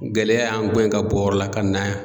Gɛlɛya y'an guwɛn ye ka bɔ o yɔrɔ la ka na yan.